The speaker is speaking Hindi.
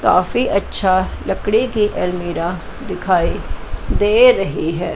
काफी अच्छा लकड़ी के अलमीरा दिखाई दे रही है।